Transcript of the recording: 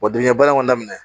Wa binnkanni bara ka daminɛ